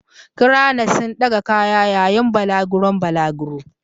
Cranes sun ɗaga kaya yayin balaguron balaguro.